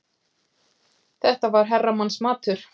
Þetta var herramannsmatur.